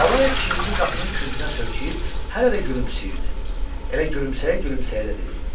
Lalayev çiynini qapının küncünə söykəyib, hələ də gülümsəyirdi, elə gülümsəyə-gülümsəyə də dedi: